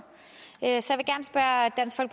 så